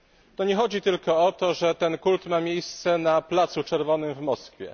To nie chodzi tylko o to, że ten kult ma miejsce na Placu Czerwonym w Moskwie.